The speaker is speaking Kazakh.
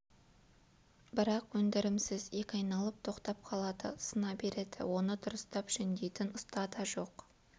бірақ өндірімсіз екі айналып тоқтап қалады сына береді оны дұрыстап жөндейтін ұста да жоқ